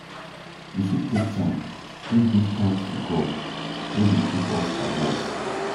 We fit take time take give thanks to God wey dey keep us alive